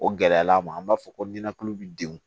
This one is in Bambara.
O gɛlɛya ma an b'a fɔ ko ninakili bi denw